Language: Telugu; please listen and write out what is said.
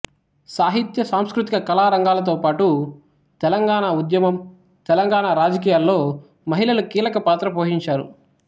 సాహిత్య సాంస్కృతిక కళా రంగాలతోపాటు తెలంగాణ ఉద్యమం తెలంగాణ రాజకీయాల్లో మహిళలు కీలకపాత్ర పోషించారు